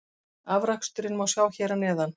Afraksturinn má sjá hér að neðan.